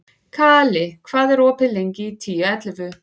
Kali, hvað er opið lengi í Tíu ellefu?